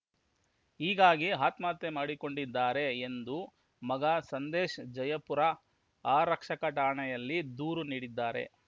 ಹೀಗಾಗಿ ಆತ್ಮಹತ್ಯೆ ಮಾಡಿಕೊಂಡಿದ್ದಾರೆ ಎಂದು ಮಗ ಸಂದೇಶ್‌ ಜಯಪುರ ಆರಕ್ಷಕ ಠಾಣೆಯಲ್ಲಿ ದೂರು ನೀಡಿದ್ದಾರೆ